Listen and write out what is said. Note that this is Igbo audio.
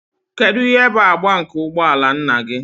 Kedu ihe bụ agba nke ụgbọ ala nna gị?